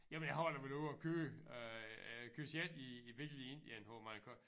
Jamen jeg har da været ude og køre øh køre selv i i bil i Indien hvor man kan